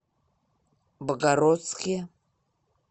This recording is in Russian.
богородске